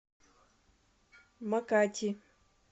макати